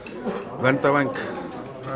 verndarvæng